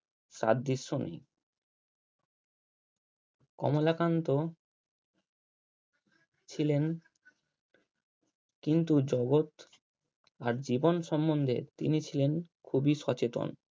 সাদৃশ্য নেই কমলাকান্ত ছিলেন কিন্তু জগৎ আর জীবন সমন্ধে তিনি ছিলেন খুবই সচেতন।